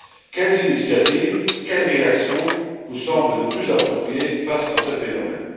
Quelles initiatives et quelles réactions vous semblent les plus appropriées face à ce phénomène?